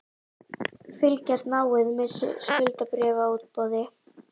Fylgjast náið með skuldabréfaútboði